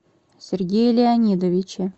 сергея леонидовича